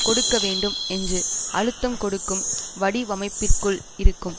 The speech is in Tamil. கொடுக்க வேண்டும் என்று அழுத்தம் கொடுக்கும் வடிவமைப்பிற்குள் இருக்கும்